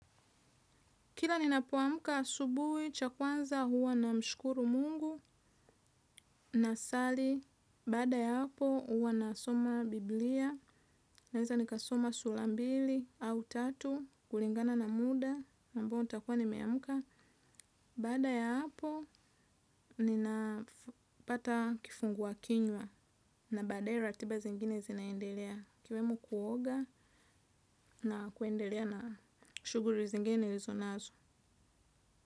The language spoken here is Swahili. Kila ninapuamuka asubuhi, cha kwanza huwa na mshukuru mungu, nasali, baada ya hapo huwa na soma biblia, naeza nikasoma sura mbili au tatu, kulingana na muda, ambao nitakua nimeamuka. Baada ya hapo, ninapata kifungua kinywa, na baadae ratiba zingine zinaendelea, kiwemu kuoga na kuendelea na shuguri zingine nilizo nazo.